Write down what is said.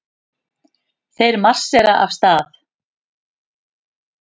Þeir marsera af stað.